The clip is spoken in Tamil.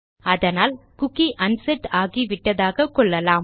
அதனால் குக்கி அன்செட் ஆகிவிட்டதாக கொள்ளலாம்